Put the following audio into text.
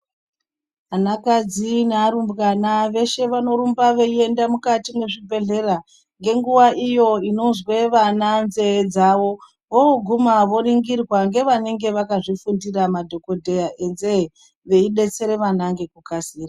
Vanakadzi ne arumbwana veshe vanorumba veiende mukati mwezvibhehlera ngenguwa iyo inonzwe vana nzeye dzavo voguma voringirwa ngevanenge vakazvifundira madhokodheya yenzeye veidetsere vana ngekukasira.